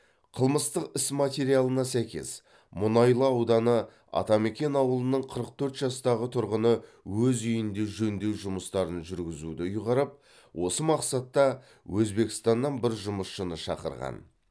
қылмыстық іс материалына сәйкес мұнайлы ауданы атамекен ауылының қырық төрт жастағы тұрғыны өз үйінде жөндеу жұмыстарын жүргізуді ұйғарып осы мақсатта өзбекстаннан бір жұмысшыны шақырған